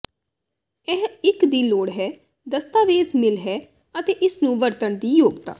ਇਹ ਇੱਕ ਦੀ ਲੋੜ ਹੈ ਦਸਤਾਵੇਜ਼ ਮਿੱਲ ਹੈ ਅਤੇ ਇਸ ਨੂੰ ਵਰਤਣ ਦੀ ਯੋਗਤਾ